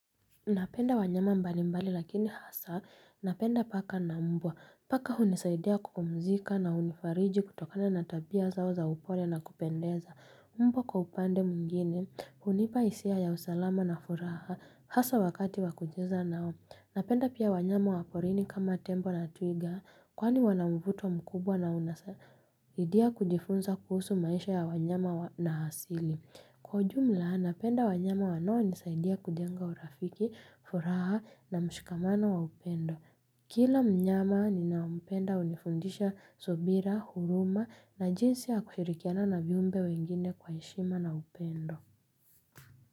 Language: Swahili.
Napenda wanyama mbali mbali lakini hasa. Napenda paka na mbwa. Paka hunisaidia kupumzika na hunifariji kutokana na tabia zao za upole na kupendeza. Mbwa kwa upande mungine. Hunipa hisia ya usalama na furaha. Hasa wakati wa kujeza nao. Napenda pia wanyama wa porini kama tembo na twiga. Kwani wana mvuto mkubwa na unasaidia kujifunza kuhusu maisha ya wanyama na hasili. Kwa jumla, napenda wanyama wanaonisaidia kujenga urafiki, furaha na mshikamano wa upendo. Kila mnyama ninaompenda hunifundisha subira, huruma na jinsi ya kushirikiana na viumbe wengine kwa heshima na upendo.